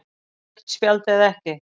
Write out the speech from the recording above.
Rautt spjald eða ekki?